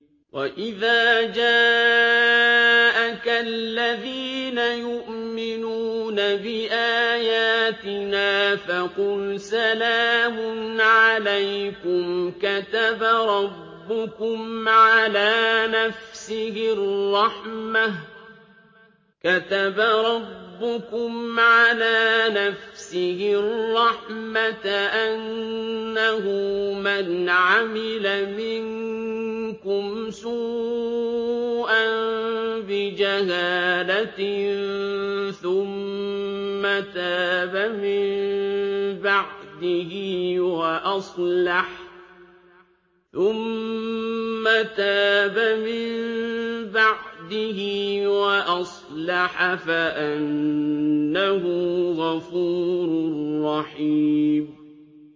وَإِذَا جَاءَكَ الَّذِينَ يُؤْمِنُونَ بِآيَاتِنَا فَقُلْ سَلَامٌ عَلَيْكُمْ ۖ كَتَبَ رَبُّكُمْ عَلَىٰ نَفْسِهِ الرَّحْمَةَ ۖ أَنَّهُ مَنْ عَمِلَ مِنكُمْ سُوءًا بِجَهَالَةٍ ثُمَّ تَابَ مِن بَعْدِهِ وَأَصْلَحَ فَأَنَّهُ غَفُورٌ رَّحِيمٌ